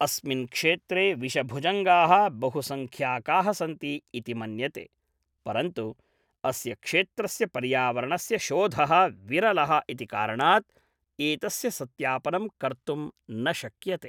अस्मिन् क्षेत्रे विषभुजङ्गाः बहुसंख्याकाः सन्ति इति मन्यते, परन्तु अस्य क्षेत्रस्य पर्यावरणस्य शोधः विरलः इति कारणात् एतस्य सत्यापनम् कर्तुं न शक्यते।